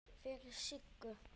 Fyrir Siggu.